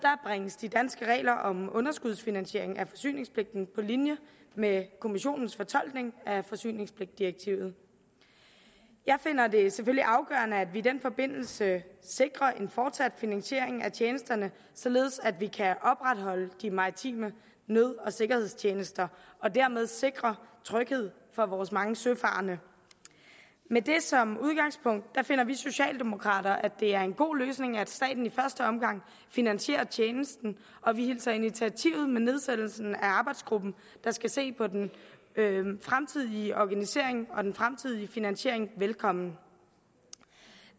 bringes de danske regler om underskudsfinansiering af forsyningspligten på linje med kommissionens fortolkning af forsyningspligtdirektivet jeg finder det selvfølgelig afgørende at vi i den forbindelse sikrer en fortsat finansiering af tjenesterne således at vi kan opretholde de maritime nød og sikkerhedstjenester og dermed sikre tryghed for vores mange søfarende med det som udgangspunkt finder vi socialdemokrater at det er en god løsning at staten i første omgang finansierer tjenesten og vi hilser initiativet med nedsættelsen af arbejdsgruppen der skal se på den fremtidige organisering og den fremtidige finansiering velkommen